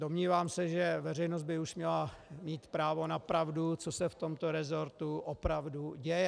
Domnívám se, že veřejnost by už měla mít právo na pravdu, co se v tomto resortu opravdu děje.